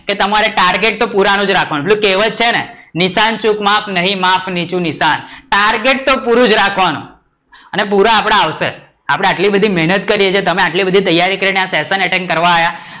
કે તમારે ટાર્ગેટ તો પુરાણું જ રાખવાનું. પેલું કેહવત છે ને નિશાન ચૂક માફ નહીં માફ નીચું નિશાન, ટાર્ગેટ તો પૂરું જ રાખવાનું અને પુરા આપડા આવશે, આપડે આટલી બધી મેહનત કરીયે છે તમે આટલી બધી તૈયારી કરીને આ session કરવા આવ્યા